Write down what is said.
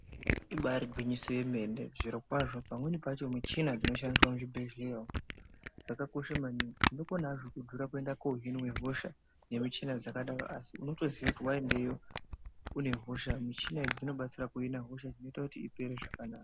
Ibaari gwinyiso yemene. Zvirokwazvo pamweni pacho michina dzinoshandiswa muzvibhehlera umu, dzakakosha maningi. Zvinokona hazvo kudhura kuenda kohinwa hosha, nemichina dzakadaro asi unotoziya kuti waendeyo une hosha, michina iyi dzinobatsira kuhina hosha iyi, zvinoita kuti ipere zvakanaka.